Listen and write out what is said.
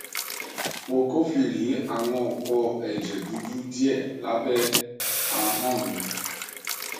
mo kófìrí àwọn òpó ẹjẹ dúdú díẹ lábẹ ahọn mí